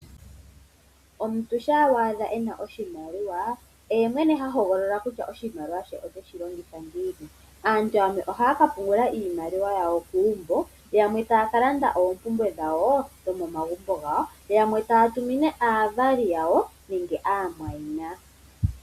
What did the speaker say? Omuntu sha wa adha ena oshimaliwa oye mwene ha hogolola kutya oshimaliwa she oteshi longitha ngiini. Aaantu yamwe ohaya ka pungula iimaliwa yawo kuumbo, yamwe taya kalanda oompumbwe dhawo dhomomagumbo gawo, yamwe taya tumine aavali yawo nenge aamwayina